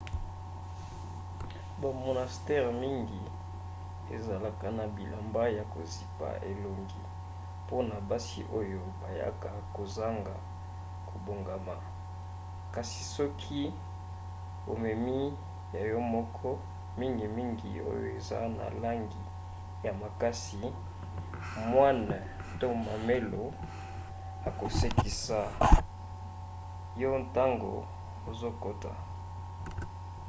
bamonastere mingi ezalaka na bilamba ya kozipa elongo mpona basi oyo bayaka kozanga kobongama kasi soki omemi ya yo moko mingimingi oyo eza na langi ya makasi moine to mamelo akosekisa yo ntango ozokota